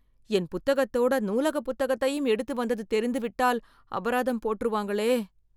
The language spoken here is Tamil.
என் புத்தகத்தோட நூலக புத்தகத்தையும் எடுத்துட்டு வந்தது தெரிந்து விட்டால் அபராதம் போட்ருவாங்களே..